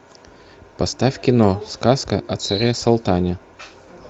поставь кино сказка о царе салтане